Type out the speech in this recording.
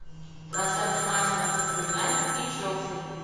трансляция матча манчестер юнайтед и челси